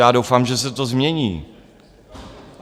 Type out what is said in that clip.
Já doufám, že se to změní.